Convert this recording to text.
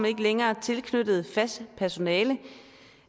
ikke længere har tilknyttet fast personale